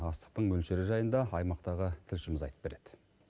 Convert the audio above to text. астықтың мөлшері жайында аймақтағы тілшіміз айтып береді